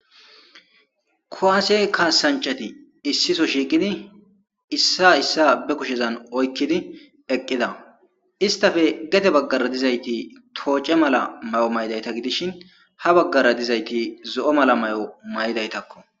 kowaasey kaasanchati issiso shiiqidi issa issa be kushezan oykkidi eqqida istafe gete baggara dizayti tooce mala may7o maydayta gidishin ha baggara dizayti zo7o mala may7o may7daytakko